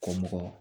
Kɔ mɔgɔ